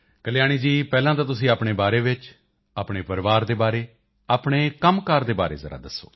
ਕਲਿਆਣੀ ਜੀ ਪਹਿਲਾਂ ਤਾਂ ਤੁਸੀਂ ਆਪਣੇ ਬਾਰੇ ਵਿੱਚ ਆਪਣੇ ਪਰਿਵਾਰ ਦੇ ਬਾਰੇ ਆਪਣੇ ਕੰਮਕਾਰ ਦੇ ਬਾਰੇ ਜ਼ਰਾ ਦੱਸੋ